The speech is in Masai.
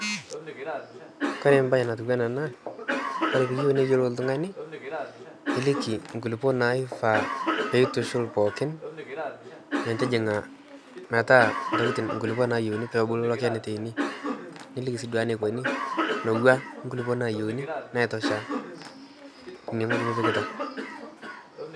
kore embae natiu anaa ena, kore piiyieu neyiolou oltung'ani niliki nkulupuo naifaa peitushul pookin metijing'a metaa ntokitin nkulupuo nayieuni, peeku loken itaini, niliki sii duo enaikoni newua nkulupuo naayieuni naitosha inewueji nipikita.